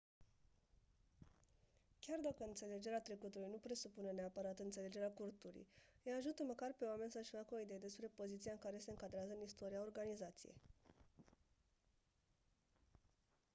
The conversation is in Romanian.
chiar dacă înțelegerea trecutului nu presupune neapărat înțelegerea culturii îi ajută măcar pe oameni să-și facă o idee despre poziția în care se încadrează în istoria organizației